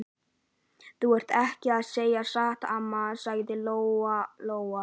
Þú ert ekki að segja satt, amma, sagði Lóa Lóa.